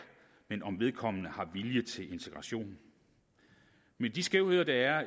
men om vedkommende har vilje til integration men de skævheder der er